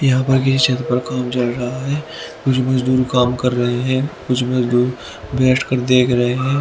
यहाँ पर किसी छत पर काम कर रहा है कुछ मजदूर काम कर रहे हैं कुछ मजदूर बैठ कर देख रहे हैं।